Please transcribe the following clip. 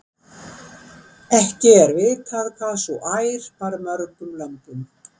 Ekki er vitað hvað sú ær bar mörgum lömbum.